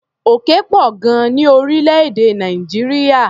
Òkè pọ̀ gan-an ní orílẹ̀-èdè Nàìjíríà.